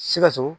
Sikaso